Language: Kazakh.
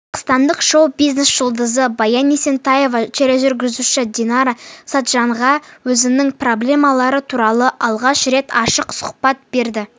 қазақстандық шоу-бизнес жұлдызы баян есентаева тележүргізуші динара сатжанға өзінің проблемалары туралы алғаш рет ашық сұхбат берді